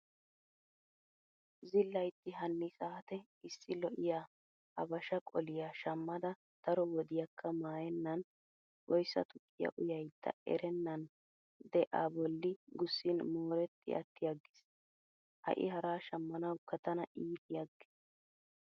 Zillaytti hanni saate issi lo"iyaa habashaa qoliyaa shammada daro wodiyaakka maayennan oyssa tukkiyaa uyaydda erennan de A bolli gussin mooretti attiyaaggis. Ha"i haraa shammanawukka tana iitiyaaggiis.